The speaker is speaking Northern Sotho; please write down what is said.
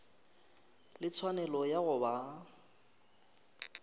le tshwanelo ya go ba